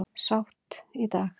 Sátt í dag